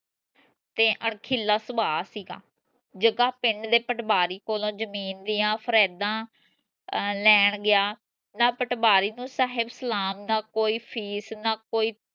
ਤੇ ਅਣਖੀਲਾ ਸੁਭਾਅ ਸੀਗਾ ਜਗਾ ਪਿੰਡ ਦੇ ਪਟਵਾਰੀ ਕੋਲੋ ਜਮੀਨ ਦੀਆਂ ਫਰੇਦਾ ਅਹ ਲੈਣ ਗਿਆ ਨਾ ਪਟਵਾਰੀ ਨੂੰ ਸਹਿਜ ਸਲਾਮ ਨਾ ਕੋਈ fees ਨਾ ਕੋਈ